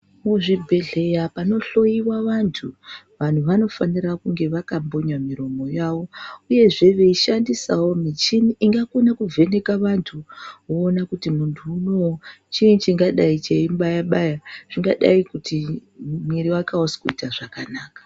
Mu zvibhehleya pano hloyiwa vantu vanhu vano fanira kunge vaka punya muromo wavo uyezve veishandisawo michini inga kone ku vheneka vantu woona kuti muntu uono chii chingadai cheyi mubaya baya zvingadai kuti mwiri wake ausi kuita zvakanaka.